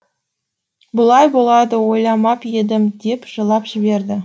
бұлай болады ойламап едім деп жылап жіберді